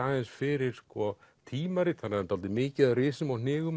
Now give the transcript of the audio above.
aðeins fyrir tímarit þannig að það er dálítið mikið af risum og